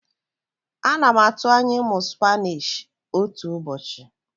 Ana m atụ anya ịmụ Spanishi otu ụbọchị.